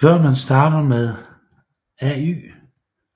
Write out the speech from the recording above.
Før man starter med